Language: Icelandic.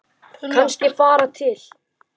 Kannski fara til